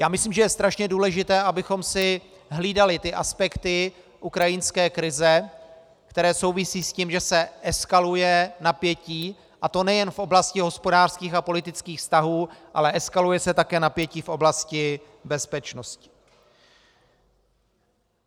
Já myslím, že je strašně důležité, abychom si hlídali ty aspekty ukrajinské krize, které souvisí s tím, že se eskaluje napětí, a to nejen v oblasti hospodářských a politických vztahů, ale eskaluje se také napětí v oblasti bezpečnosti.